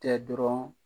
Tɛ dɔrɔn